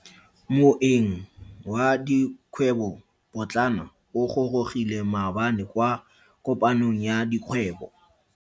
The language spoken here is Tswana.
Moeng wa dikgwebo potlana o gorogile maabane kwa kopanong ya dikgwebo.